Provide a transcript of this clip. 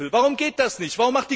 Warum geht das nicht?